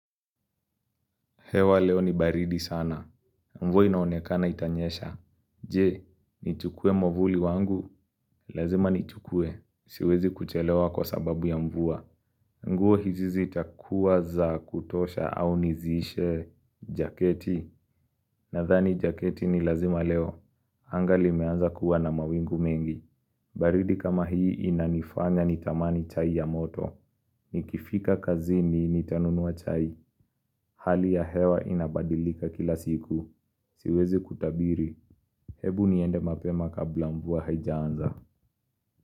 Hewa leo ni baridi sana. Mvua inaonekana itanyesha. Je, nichukue movuli wangu. Lazima nichukue. Siwezi kuchelewa kwa sababu ya mvua. Nguo hizi ziitakuwa za kutosha au nizishe jaketi. Nathani jaketi ni lazima leo. Anga limeanza kuwa na mawingu mingi. Baridi kama hii inanifanya nitamani chai ya moto. Nikifika kazini nitanunua chai. Hali ya hewa inabadilika kila siku Siwezi kutabiri Hebu niende mapema kabla mvua haijaanza.